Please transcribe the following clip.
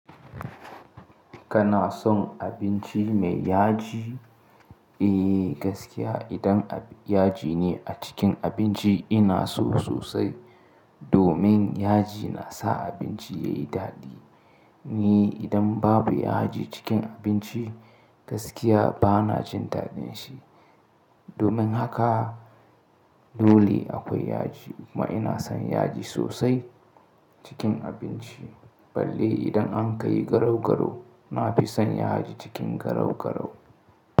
Kana son abinci mai yaji? Eh gaskiya idan yaji ne a cikin abinci ina so sosai. Domin yaji nasa abinci yayi daɗi. Ni idan babu yaji cikin abinci gaskiya bana jin daɗin shi. Domin haka dole akwai yaji kuma ina son yaji sosai cikin abinci. Balai idan an ka yi garau garau na fi son yaji cikin garau garau.